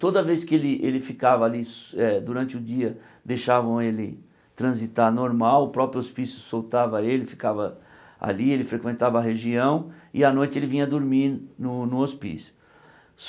Toda vez que ele ele ficava ali durante o dia, deixavam ele transitar normal, o próprio hospício soltava ele, ficava ali, ele frequentava a região e à noite ele vinha dormir no no hospício.